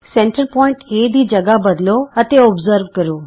ਕੇਂਦਰ ਬਿੰਦੂ A ਦੀ ਥਾਂ ਬਦਲੋ ਅਤੇ ਨਿਰੀਖਣ ਕਰੋ